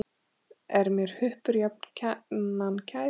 Er mér huppur jafnan kær.